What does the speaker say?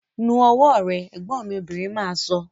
Nu ọwọ́ rẹ! Ẹ̀gbọ́n mi obìnrin máa sọ